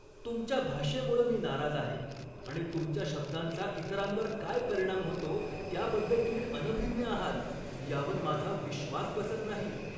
तुमच्या भाषेमुळं मी नाराज आहे आणि तुमच्या शब्दांचा इतरांवर काय परिणाम होतो त्याबद्दल तुम्ही अनभिज्ञ आहात यावर माझा विश्वास बसत नाही.